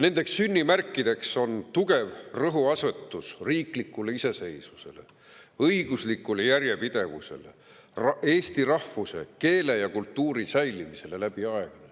Tema sünnimärkideks on tugev rõhuasetus riiklikule iseseisvusele, õiguslikule järjepidevusele, eesti rahvuse, keele ja kultuuri säilimisele läbi aegade.